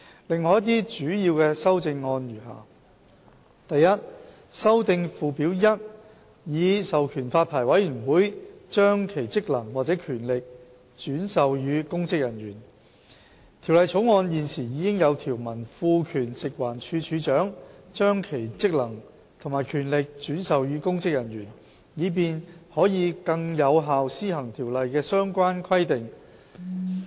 另外一些主要修正案如下： a 修訂附表 1， 以授權發牌委員會把其職能或權力轉授予公職人員《條例草案》現時已有條文賦權食物環境衞生署署長，把其職能及權力轉授予公職人員，以便可更有效施行條例的相關規定。